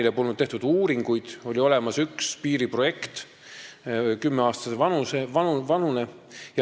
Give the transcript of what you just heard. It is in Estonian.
Siis polnud tehtud uuringuid, oli olemas üks piiriprojekt, kümne aasta vanune.